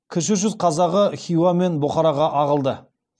кіші жүз қазағы хиуа мен бұхараға ағылды